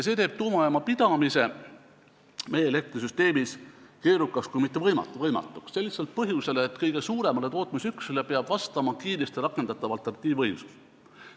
See teeb tuumajaama pidamise meie elektrisüsteemis keerukaks kui mitte võimatuks, sel lihtsal põhjusel, et kõige suuremale tootmisüksusele peab vastama kiiresti rakendatav alternatiivvõimsus.